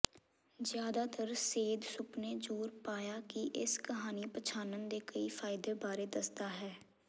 ਜ਼ਿਆਦਾਤਰ ਸੇਧ ਸੁਪਨੇ ਜ਼ੋਰ ਪਾਇਆ ਕਿ ਇਸ ਕਹਾਣੀ ਪਛਾਣਨ ਦੇ ਕਈ ਫ਼ਾਇਦੇ ਬਾਰੇ ਦੱਸਦਾ ਹੈ